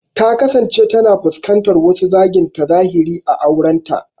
Ta kasance tana fuskantar wasu zagi ta zahiri a aurenta.